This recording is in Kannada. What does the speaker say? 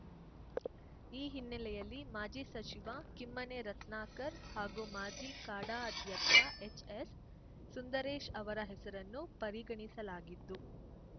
ಈ ಹಿನ್ನೆಲೆಯಲ್ಲಿ ಮಾಜಿ ಸಚಿವ ಕಿಮ್ಮನೆ ರತ್ನಾಕರ್‌ ಹಾಗೂ ಮಾಜಿ ಕಾಡಾ ಅಧ್ಯಕ್ಷ ಎಚ್‌ಎಸ್‌ ಸುಂದರೇಶ್‌ ಅವರ ಹೆಸರನ್ನು ಪರಿಗಣಿಸಲಾಗಿದ್ದು